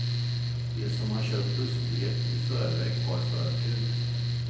De som har köpt bussbiljett i förväg har förtur.